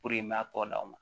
i m'a tɔgɔ d'aw ma